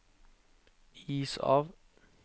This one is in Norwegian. is av